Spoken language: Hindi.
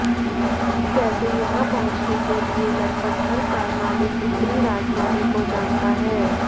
कैसे यहां पहुंचने के लिए लगभग हर कार मालिक उत्तरी राजधानी को जानता है